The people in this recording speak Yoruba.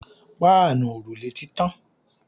Páànù òrùlé tí tàn